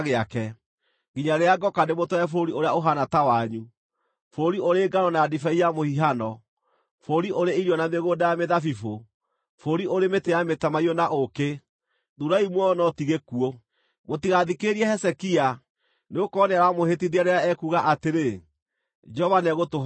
nginya rĩrĩa ngooka ndĩmũtware bũrũri ũrĩa ũhaana ta wanyu, bũrũri ũrĩ ngano na ndibei ya mũhihano, bũrũri ũrĩ irio na mĩgũnda ya mĩthabibũ, bũrũri ũrĩ mĩtĩ ya mĩtamaiyũ na ũũkĩ. Thuurai muoyo no ti gĩkuũ! “Mũtigathikĩrĩrie Hezekia, nĩgũkorwo nĩaramũhĩtithia rĩrĩa ekuuga atĩrĩ, ‘Jehova nĩegũtũhonokia.’